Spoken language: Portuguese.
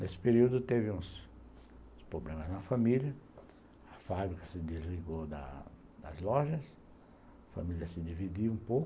Nesse período teve uns uns problemas na família, a fábrica se desligou das lojas, a família se dividiu um pouco.